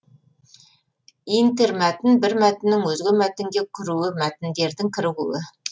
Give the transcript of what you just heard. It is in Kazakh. интермәтін бір мәтіннің өзге мәтінге кіруі мәтіндердің кірігуі